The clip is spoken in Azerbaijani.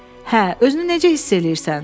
Hə, özünü necə hiss eləyirsən?